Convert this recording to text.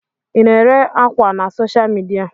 Ị na-ere ákwà na soshal midia?